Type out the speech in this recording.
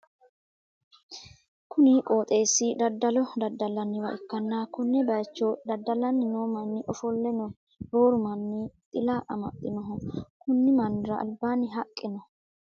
Kuni qooxeessi daddalo daddallanniwa ikkanna, konne bayicho dadda'lanni noo manni ofolle no rooru manni xila amaxxinoho, konni mannira albaanni haqqe no.